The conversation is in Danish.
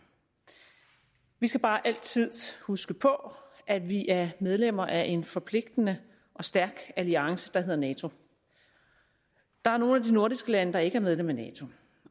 vi skal bare altid huske på at vi er medlemmer af en forpligtende og stærk alliance der hedder nato der er nogle af de nordiske lande der ikke er medlem af nato